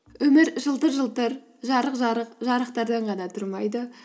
өмір жылтыр жылтыр жарық жырық жарықтардан ғана тұрмайды